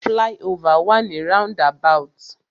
Fly-over wà ni roundabout.